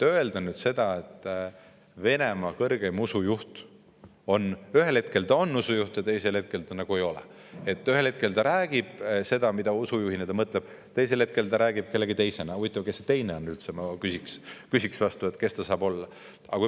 " Kui Venemaa kõrgeim usujuht ühel hetkel on usujuht ja teisel hetkel nagu ei ole, ühel hetkel ta räägib seda, mida usujuhina ta mõtleb, aga teisel hetkel räägib kellegi teisena, siis ma küsiksin vastu, et huvitav, kes see teine üldse on, kes ta saab veel olla.